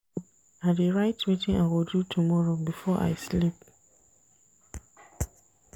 I dey write wetin I go do tomorrow before I sleep.